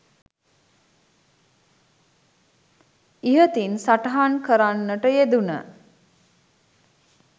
ඉහතින් සටහන් කරන්නට යෙදුන